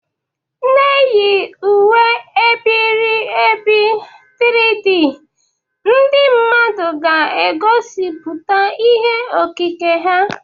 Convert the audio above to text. Na-eyi uwe e biri ebi 3D, ndị mmadụ ga-egosipụta ihe okike ha.